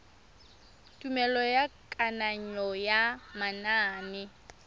tumelelo ya kananyo ya manane